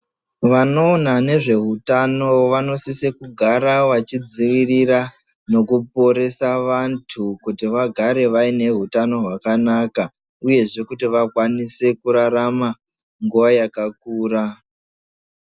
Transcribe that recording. Vanoona nezveutano vanosisirwa kugara vachidzivirira nekuponese vandu kuti vagare vari vaine hutano hwakanaka uyezvee kuti vakwanise kurarama nguva yakakura.